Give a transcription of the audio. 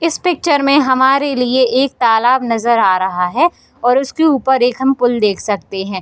इस पिक्चर में हमारे लिए एक तालाब नजर आ रहा है और उसके ऊपर एक हम पुल देख सकते है।